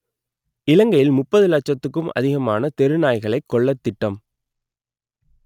இலங்கையில் முப்பது லட்சத்துக்கும் அதிகமான தெரு நாய்களை கொல்லத் திட்டம்